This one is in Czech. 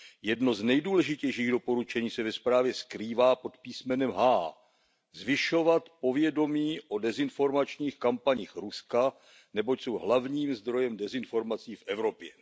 Jedno z nejdůležitějších doporučení se ve zprávě skrývá pod písmenem h zvyšovat povědomí o dezinformačních kampaních Ruska, neboť jsou hlavním zdrojem dezinformací v Evropě.